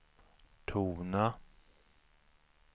tona